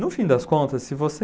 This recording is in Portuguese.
No fim das contas, se você